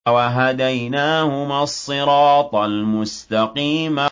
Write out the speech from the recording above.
وَهَدَيْنَاهُمَا الصِّرَاطَ الْمُسْتَقِيمَ